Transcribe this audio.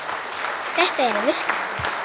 Þetta er að virka.